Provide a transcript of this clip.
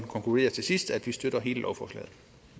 konkludere til sidst at vi støtter hele lovforslaget